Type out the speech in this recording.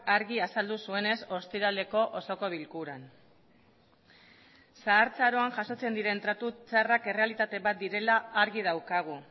argi azaldu zuenez ostiraleko osoko bilkuran zahartzaroan jasotzen diren tratu txarrak errealitate bat direla argi daukagu